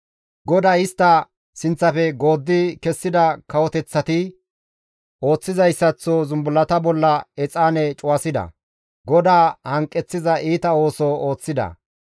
GODAY istta sinththafe gooddi kessida kawoteththati ooththizayssaththo zumbullata bolla exaane cuwasida; GODAA hanqeththiza iita ooso ooththida.